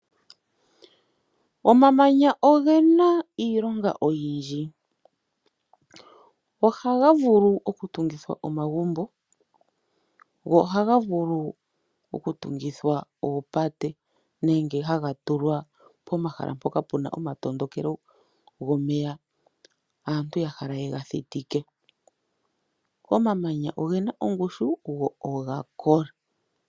Omamanya ogena iilonga oyindji. Ohaga vulu okutungithwa omagumbo, go ohaga vulu okutungithwa oopate nenge haga tulwa pomahala mpoka puna omatondokelo gomeya, aantu ya hala ye ga thitike. Omamanya ogena ongushu go oga kola.